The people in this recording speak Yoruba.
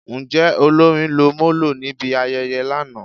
Njẹ olórin lọ molo nibi ayẹyẹ lana?